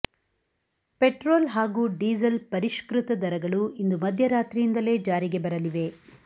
petrol ಹಾಗೂ diesel ಪರಿಷ್ಕೃತ ದರಗಳು ಇಂದು ಮಧ್ಯರಾತ್ರಿಯಿಂದಲೇ ಜಾರಿಗೆ ಬರಲಿವೆ